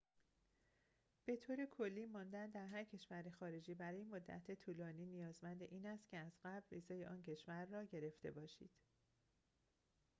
به طور کلی ماندن در هر کشور خارجی برای مدت طولانی نیازمند این است که از قبل ویزای آن کشور را گرفته باشید